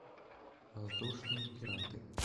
воздушные пираты